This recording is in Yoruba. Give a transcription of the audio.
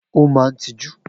O maa n tiju.